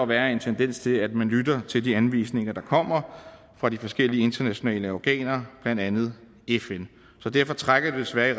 være en tendens til at man lytter til de anvisninger der kommer fra de forskellige internationale organer blandt andet fn det trækker desværre i